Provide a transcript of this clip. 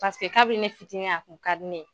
Paseke kabini ne fitini a kun ka di ne ye.